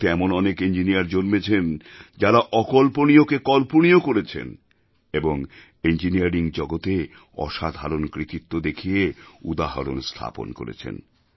ভারতে এমন অনেক ইঞ্জিনিয়ার জন্মেছেন যারা অকল্পনীয়কে কল্পনীয় করেছেন এবং ইঞ্জিনিয়ারিং জগতে অসাধারণ কৃতিত্ব দেখিয়ে উদাহরণ স্থাপন করেছেন